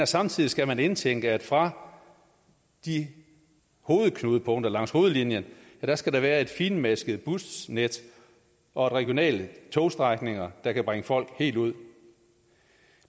samtidig skal man indtænke at fra de hovedknudepunkter langs hovedlinjen skal der være et finmasket busnet og regionale togstrækninger der kan bringe folk helt ud